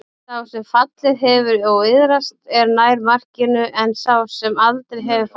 Sá sem fallið hefur og iðrast er nær markinu en sá sem aldrei hefur fallið.